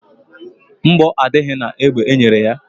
Mgbọ adịghị na egbe enyere ya.